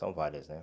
São várias, né?